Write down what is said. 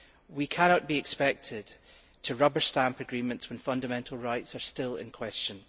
We cannot be expected to rubber stamp agreements when fundamental rights are still in question.